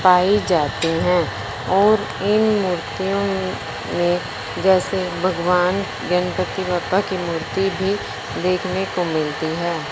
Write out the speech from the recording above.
पाए जाते हैं और इन मूर्तियों में जैसे भगवान गणपति बप्पा की मूर्ति भी देखने को मिलती हैं।